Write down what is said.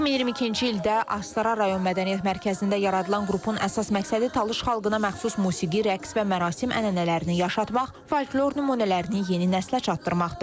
2022-ci ildə Astara rayon Mədəniyyət Mərkəzində yaradılan qrupun əsas məqsədi Talış xalqına məxsus musiqi, rəqs və mərasim ənənələrini yaşatmaq, folklor nümunələrini yeni nəslə çatdırmaqdır.